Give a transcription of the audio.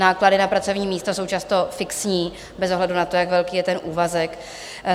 Náklady na pracovní místa jsou často fixní bez ohledu na to, jak velký je ten úvazek.